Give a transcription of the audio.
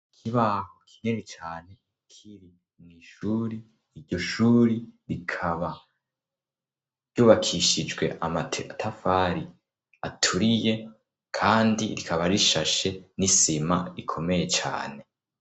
Ikibaho kinini cane kiri mw'ishuri iryo shuri rikaba ryubakishijwe amatafari aturiye kandi rikaba rishashe n'isima ikomeye cane.